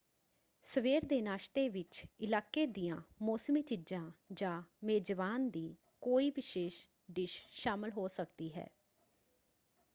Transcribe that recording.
ਸਵੇਰ ਦੇ ਨਾਸ਼ਤੇ ਵਿੱਚ ਇਲਾਕੇ ਦੀਆਂ ਮੌਸਮੀ ਚੀਜਾਂ ਜਾਂ ਮੇਜ਼ਬਾਨ ਦੀ ਕੋਈ ਵਿਸ਼ੇਸ਼ ਡਿਸ਼ ਸ਼ਾਮਲ ਹੋ ਸਕਦੀ ਹੈ।